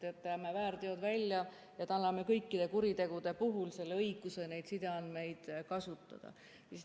Jätame väärteod välja ja anname kõikide kuritegude puhul õiguse neid sideandmeid kasutada.